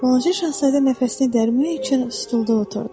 Balaca şahzadə nəfəsini dərmək üçün stulda oturdu.